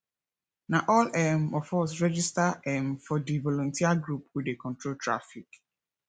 na all um of us register um for di voluteer group wey dey control traffic